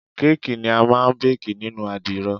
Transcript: Káàkì ni a máa ń bákì nínú àdìrò.